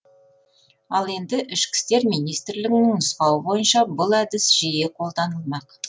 ал енді ішкі істер министрлігінің нұсқауы бойынша бұл әдіс жиі қолданылмақ